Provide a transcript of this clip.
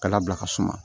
Ka labila ka suma